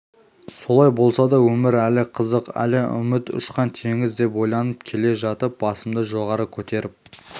солай болса да өмір әлі қызық әлі үміт ұшан-теңіз деп ойланып келе жатып басымды жоғары көтеріп